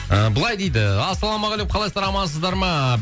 ы былай дейді ассалаумағалейкум қалайсыздар амансыздар ма